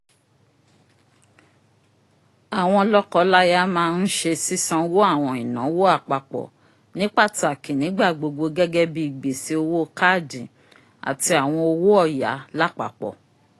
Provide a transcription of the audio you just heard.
awọn lọkọlaya má nsẹ sisanwo awọn ìnáwó àpapọ ni pataki nigbagbogbo gẹgẹbi gbese owó kaadi ati awọn owó ọya lapapọ